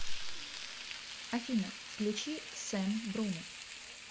афина включи сэм бруно